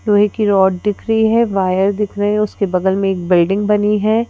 लोहे की रॉड दिख रही है वायर दिख रहे है उसके बगल में एक बिल्डिंग बनी है।